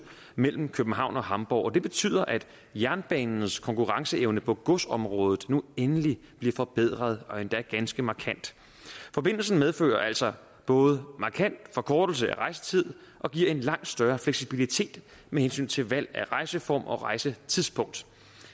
mellem københavn og hamborg og det betyder at jernbanens konkurrenceevne på godsområdet nu endelig bliver forbedret og endda ganske markant forbindelsen medfører altså både markant forkortelse af rejsetid og giver en langt større fleksibilitet med hensyn til valg af rejseform og rejsetidspunkt